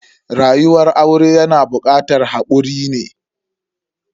Rayuwar aure yana bukatar hakuri ne.